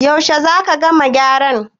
yaushe za ka gama gyaran?